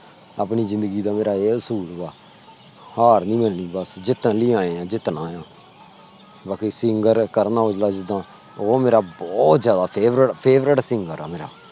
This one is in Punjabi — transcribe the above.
ਆਪਣੀ ਜਿੰਦਗੀ ਦਾ ਮੇਰਾ ਏਹੀ ਅਸੂਲ ਬਾ ਹਾਰ ਨੀ ਮਨਣੀ। ਜਿੱਤਣ ਲਾਇ ਆਏ ਆ ਬਸ ਜਿਤਨਾ ਆ ਬਾਕੀ singer ਕਰਨ ਔਜਲਾ ਜਿੰਦਾ ਉਹ ਮੇਰਾ ਬੋਹਤ ਜਿਆਦਾ favorite singer ਆ। ਮੇਰਾ